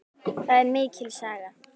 Það er mikil saga.